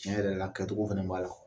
Tiɲɛ yɛrɛ la kɛcogo fana b'a la